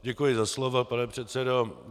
Děkuji za slovo, pane předsedo.